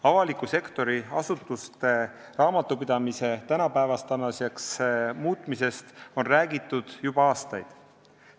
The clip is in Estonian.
Avaliku sektori asutuste raamatupidamise tänapäevaseks muutmisest on räägitud juba aastaid.